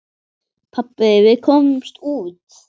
Pabbi, við komumst út!